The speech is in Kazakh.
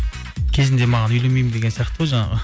кезінде маған үйленбеймін деген сияқты ғой жаңағы